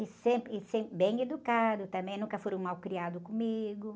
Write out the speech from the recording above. E sempre, e sempre bem educado também, nunca foram mal criados comigo.